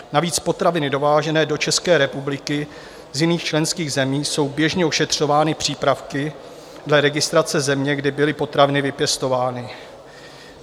Navíc potraviny dovážené do České republiky z jiných členských zemí jsou běžně ošetřovány přípravky dle registrace země, kde byly potraviny vypěstovány.